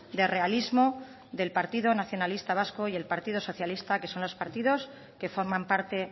de realismo del partido nacionalista vasco y del partido socialista que son los partidos que forman parte